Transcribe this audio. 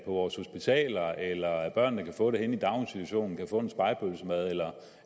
vores hospitaler og at børnene kan få det henne i daginstitutionen kan få en spegepølsemad eller